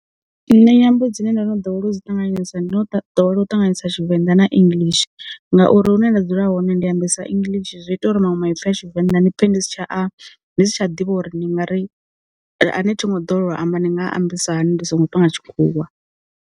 Nṋe nyambo dzine ndo no dowela u dzi ṱanganyisa ndo ḓowela u ṱanganyisa Tshivenḓa na English, ngauri hune nda dzula hone ndi ambisa English zwi ita uri manwe ma i pfha tshivenda ni pfhe ndi si tsha a ndi si tsha ḓivha uri ni ngari a ne ṱhingo ḓowela u a amba ndi nga ambisa hani ndi songo panga tshikhuwa.